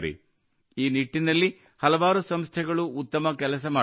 ಈ ನಿಟ್ಟಿನಲ್ಲಿ ಹಲವಾರು ಸಂಸ್ಥೆಗಳು ಉತ್ತಮ ಕೆಲಸ ಮಾಡುತ್ತಿವೆ